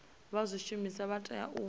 vha zwishumiswa vha tea u